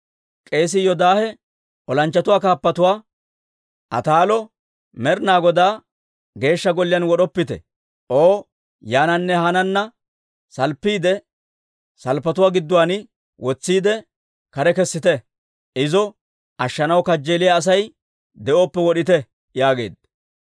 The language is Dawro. K'eesii Yoodaahe olanchchatuu kaappatuwaa, «Ataalo Med'inaa Godaa Geeshsha Golliyaan wod'oppite! O yaananne haanna salppiide salppetuwaa gidduwaan wotsiide, kare kessite; izo ashshanaw kajjeeliyaa Asay de'oppe wod'ite!» yaageedda.